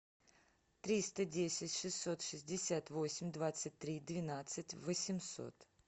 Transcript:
триста десять шестьсот шестьдесят восемь двадцать три двенадцать восемьсот